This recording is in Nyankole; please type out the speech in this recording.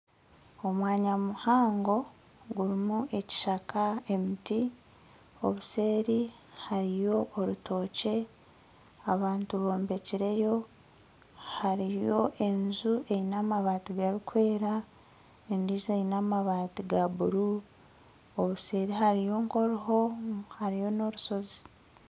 Omwanya muhango gurimu ekishaka, emiti obuseeri hariyo orutookye abantu bombekireyo hariyo enju eine amaabati garikwera endijo eine amaabati ga buruu obuseeri hariyo nka oruho hariyo n'orushozi.